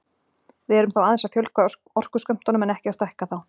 Við erum þá aðeins að fjölga orkuskömmtunum en ekki að stækka þá.